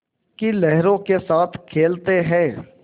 की लहरों के साथ खेलते हैं